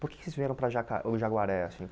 Por que que vocês vieram para Jaca o Jaguaré, assim?